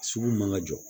Sugu man ka jɔ